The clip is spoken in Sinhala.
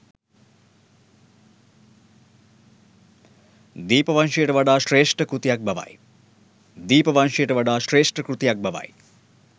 දීපවංශයට වඩා ශ්‍රේෂ්ඨ කෘතියක් බවයි.